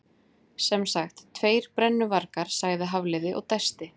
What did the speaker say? Sem sagt, tveir brennuvargar- sagði Hafliði og dæsti.